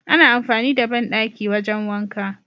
ana amfani da banɗaki wajan wanka